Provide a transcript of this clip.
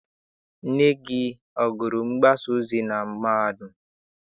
Nne gị agụrụ mgbasaozi na mahadum?